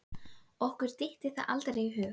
okkur dytti það aldrei í hug.